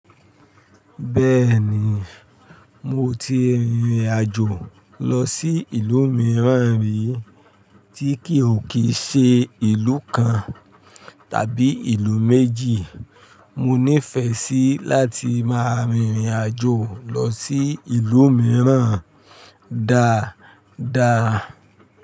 Bẹ́ẹ̀ni, mo ti rìnrìn àjò lọ sí ìlú mìíràn rí tí kì ó kíi ṣe ìlú kan tàbí ìlú méjì. Mo nífẹẹ sí láti máa rìn rìn àjò lọ sí ìlú mìíràn dáadáa.